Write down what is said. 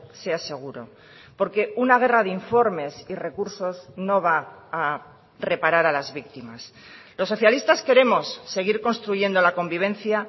sea seguro porque una guerra de informes y recursos no va a reparar a las víctimas los socialistas queremos seguir construyendo la convivencia